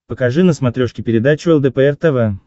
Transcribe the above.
покажи на смотрешке передачу лдпр тв